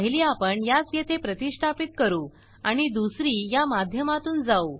पहिले आपण यास येथे प्रतिष्ठापीत करू आणि दुसरी या माध्यमातून जाऊ